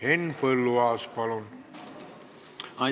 Henn Põlluaas, palun!